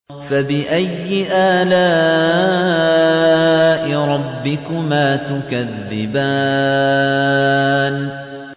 فَبِأَيِّ آلَاءِ رَبِّكُمَا تُكَذِّبَانِ